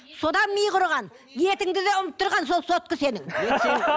содан миы құрыған етіңді де ұмыттырған сол сотка сенің